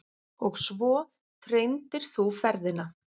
Og svo treindir þú ferðina.